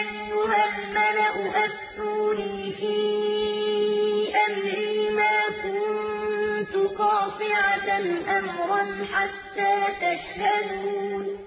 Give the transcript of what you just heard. أَيُّهَا الْمَلَأُ أَفْتُونِي فِي أَمْرِي مَا كُنتُ قَاطِعَةً أَمْرًا حَتَّىٰ تَشْهَدُونِ